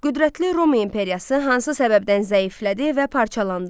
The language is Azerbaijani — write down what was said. Qüdrətli Roma imperiyası hansı səbəbdən zəiflədi və parçalandı?